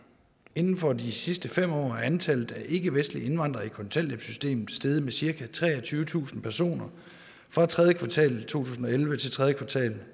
inden for de sidste fem år er antallet af ikkevestlige indvandrere i kontanthjælpssystemet steget med cirka treogtyvetusind personer fra tredje kvartal i to tusind og elleve til tredje kvartal